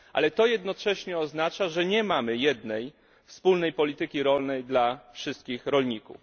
Ale jednocześnie oznacza to, że nie mamy jednej, wspólnej polityki rolnej dla wszystkich rolników.